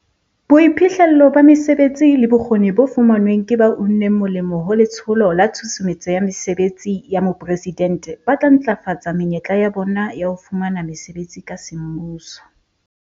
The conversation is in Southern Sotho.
Boiphihlello ba mesebetsi le bokgoni bo fumanweng ke ba uneng molemo ho Letsholo la Tshusumetso ya Mesebetsi ya Mopresidente ba tla ntlafatsa menyetla ya bona ya ho fumana mesebetsi ka semmuso.